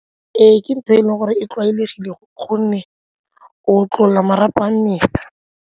Ee, ke ntho e e leng gore e tlwaelegile gonne o otlolola marapo a mmele.